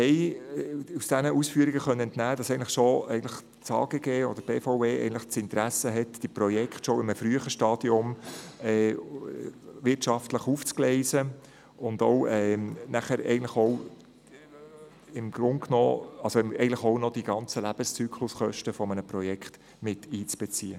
Den Ausführungen konnten wir entnehmen, dass das AGG oder die BVE ein Interesse daran haben, das Projekt bereits in einem frühen Stadium wirtschaftlich aufzugleisen und die Lebenszykluskosten des Projekts miteinzubeziehen.